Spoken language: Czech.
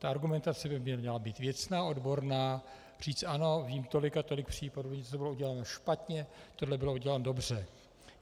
Ta argumentace by měla být věcná, odborná, říct ano, vím tolik a tolik případů, kdy to bylo uděláno špatně, tohle bylo uděláno dobře.